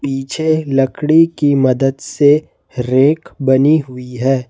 पीछे लकड़ी की मदद से रैक बनी हुई है।